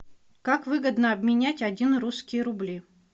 как выгодно обменять один русские рубли